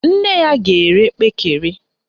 Nne ya ga-ere kpekere